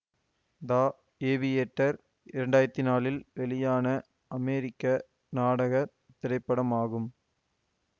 த aviator இரண்டாயிரத்தி நாலில் வெளியான அமெரிக்க நாடக திரைப்படமாகும்